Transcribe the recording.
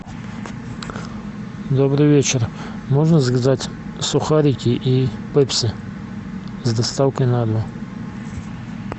добрый вечер можно заказать сухарики и пепси с доставкой на дом